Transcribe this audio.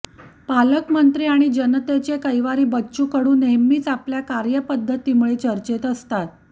पालकमंत्री आणि जनतेचे कैवारी बच्चू कडू नेहमीच आपल्या कार्यपद्धतीमुळे चर्चेत असतात